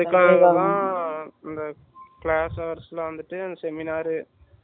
அந்த Classes ல வந்துட்டு Seminar